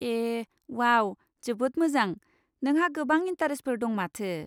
ए wow, जोबोद मोजां, नोंहा गोबां इन्टारेस्टफोर दं माथो।